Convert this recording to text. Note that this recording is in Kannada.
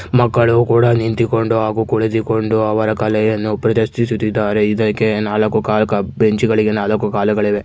ಮಕ್ಕಳು ಕೂಡ ನಿಂತಿಕೊಂಡು ಹಾಗೂ ಕುಳಿತುಕೊಂಡು ಅವರ ಕಲೆಯನ್ನು ಪ್ರದರ್ಶಿಸುತ್ತಿದ್ದಾರೆ ಇದಕೆ ನಾಲ್ಕು ಕಾಲು ಬೆಂಚಿಗಗಳಿಗೆ ನಾಲಕ್ಕು ಕಾಲುಗಳಿವೆ. .